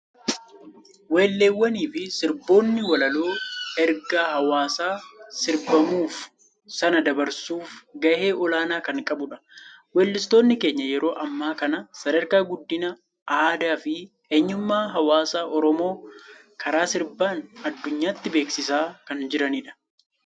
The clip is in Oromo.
Weelleewwanii fi sirboonni walaloo ergaa hawaasa sirbamuuf sanaa dabarsuuf gahee olaanaa kan qabudha. Weellistootni keenya yeroo ammaa kana sadarkaa guddina aadaa fi eenyummaa hawaasa Oromoo karaa sirbaan adunyaatti beeksisaa kan jiranidha.